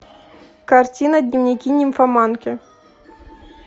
картина дневники нимфоманки